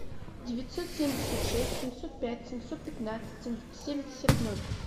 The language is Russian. девятьсот семьдесят шесть семьсот пять семьсот пятнадцать семьдесят ноль